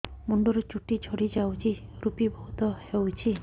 ମୁଣ୍ଡରୁ ଚୁଟି ଝଡି ଯାଉଛି ଋପି ବହୁତ ହେଉଛି